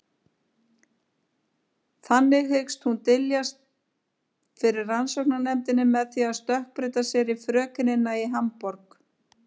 Þannig hyggst hún dyljast fyrir rannsóknarnefndinni með því að stökkbreyta sér í frökenina í Hamborg.